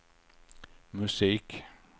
musik